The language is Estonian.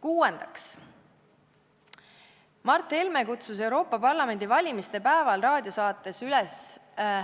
Kuuendaks, Mart Helme kutsus Euroopa Parlamendi valimiste päeval raadiosaates üles